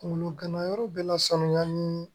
Kunkolo ganayɔrɔ bɛ na sanuya ni